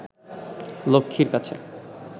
লক্ষ্মীর কাছে